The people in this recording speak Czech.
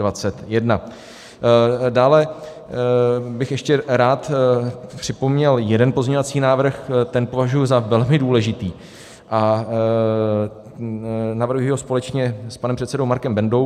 Dále bych ještě rád připomněl jeden pozměňovací návrh, ten považuji za velmi důležitý a navrhuji ho společně s panem předsedou Markem Bendou.